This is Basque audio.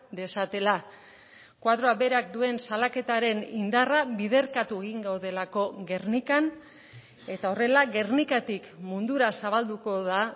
dezatela koadroak berak duen salaketaren indarra biderkatu egin gaudelako gernikan eta horrela gernikatik mundura zabalduko da